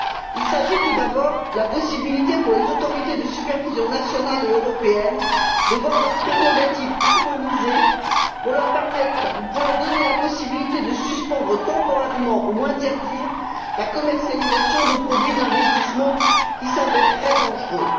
Il s'agit, tout d'abord, de la possibilité, pour les autorités de supervision nationales et européennes, de voir leurs prérogatives harmonisées pour leur donner la possibilité de suspendre temporairement ou d'interdire la commercialisation de produits d'investissement qui s'avéreraient dangereux.